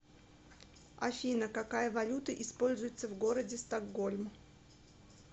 афина какая валюта используется в городе стокгольм